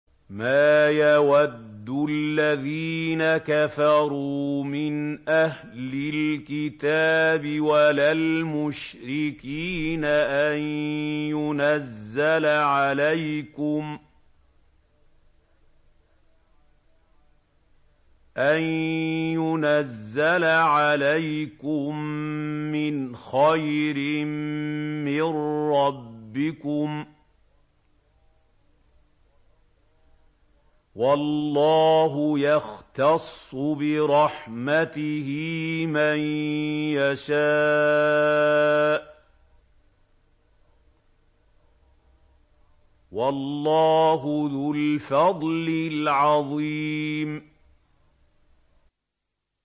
مَّا يَوَدُّ الَّذِينَ كَفَرُوا مِنْ أَهْلِ الْكِتَابِ وَلَا الْمُشْرِكِينَ أَن يُنَزَّلَ عَلَيْكُم مِّنْ خَيْرٍ مِّن رَّبِّكُمْ ۗ وَاللَّهُ يَخْتَصُّ بِرَحْمَتِهِ مَن يَشَاءُ ۚ وَاللَّهُ ذُو الْفَضْلِ الْعَظِيمِ